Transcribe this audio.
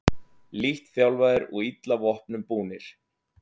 Lítt þjálfaðir og illa vopnum búnir